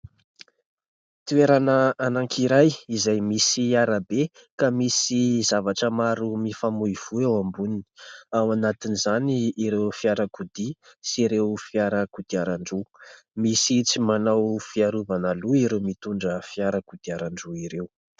Toerana anankiray izay misy arabe ka misy zavatra maro mifamoivoy ao amboniny. Ao anatin'izany ireo fiarakodia sy ireo fiara kodiarandroa. Misy tsy manao fiarovana loha ireo mitondra fiara kodiarandroa ireo.